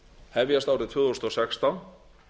hefjast árið tvö þúsund og sextán